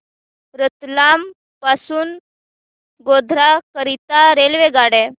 रतलाम पासून गोध्रा करीता रेल्वेगाड्या